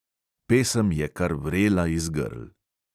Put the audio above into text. Pesem je kar vrela iz grl.